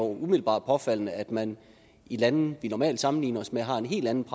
umiddelbart påfaldende at man i lande vi normalt sammenligner os med har en helt anden